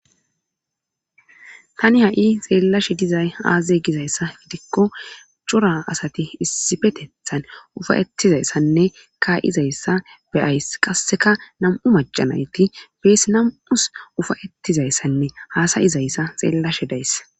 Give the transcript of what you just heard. tani ha7i xeellashe dizay aaze gizayssa gidikko cura asati issifetethan ufayettizayssanne kaa7izayssa beyays qasseka nam7u macanayti beesi nam7us ufayettizayssanne haasayizayssa xeellashe days